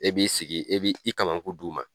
E b'i sigi e b'i kamakun di u ma